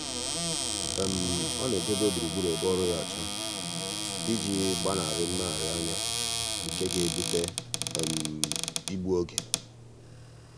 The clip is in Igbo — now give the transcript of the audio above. ọ na-edobe gburugburu ebe ọrụ ya ọcha iji gbanarị mmegharianya nke ga-ebute igbu oge.